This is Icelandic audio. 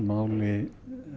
á máli